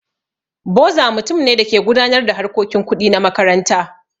Boza mutum ne da ke gudanar da harkokin kuɗi na makaranta.